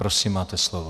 Prosím, máte slovo.